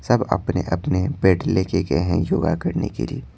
सब अपने-अपने बैग लेके गए हैं योगा करने के लिए--